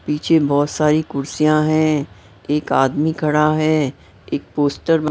पीछे बहुत सारी कुर्सियां हैं एक आदमी खड़ा है एक पोस्टर --